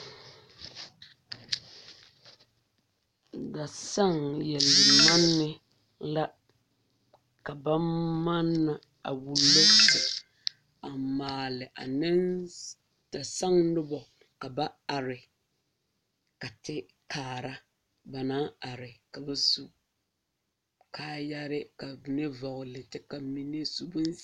Dasaŋ leɛ manne la ka ba manna a wullo a maale dasaŋ noba ka ba are a kyɛ kaara ba naŋ are ka ba su kaayare ka vɔgle zupili.